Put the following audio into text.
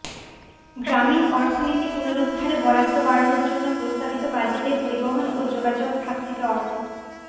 গ্রামীণ অর্থনীতি পুনরুদ্ধারে বরাদ্দ বাড়ানোর জন্য প্রস্তাবিত বাজেটে পরিবহন ও যোগাযোগ খাত থেকে অর্থ